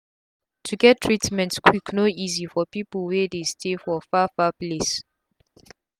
o get treatment quick no easi for pipu wey dey stay for far far place